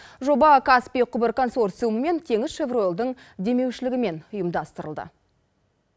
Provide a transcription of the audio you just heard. жоба каспий құбыр консорциумы мен теңізшевройлдың демеушілігімен ұйымдастырылды